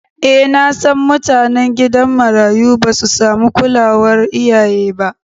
E nasan mutanen gidan marayu basu samu kulawar iyaye ba.